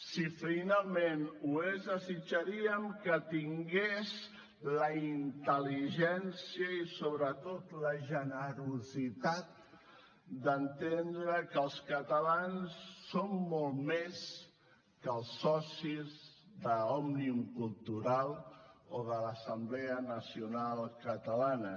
si finalment ho és desitjaríem que tingués la intel·ligència i sobretot la generositat d’entendre que els catalans som molt més que els socis d’òmnium cultural o de l’assemblea nacional catalana